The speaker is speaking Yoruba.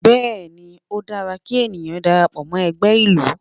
Bẹ́ẹ̀ ni, ó dára kí ènìyàn darapọ̀ mọ́ ẹgbẹ́ ìlú